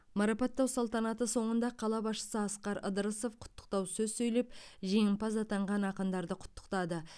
марапаттау салтанаты соңында қала басшысы асқар ыдырысов құттықтау сөз сөйлеп жеңімпаз атанған ақындарды құттықтады